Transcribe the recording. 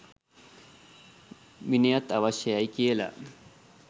විනයත් අවශ්‍ය යි කියලා